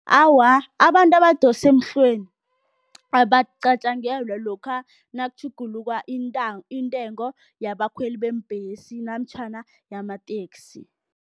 Awa, abantu abadosa emhlweni abacanjangelwa lokha nakutjhuguluka intengo yabakhweli beembhesi namtjhana yamateksi.